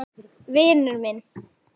Vinur minn!